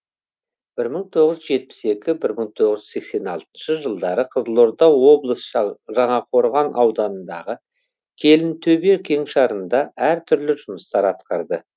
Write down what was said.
бір мың тоғыз жүз жетпіс екінші бір мың тоғыз жүз сексен алтыншы жылдары қызылорда облыс жаңақорған ауданындағы келінтөбе кеңшарында әр түрлі жұмыстар атқарды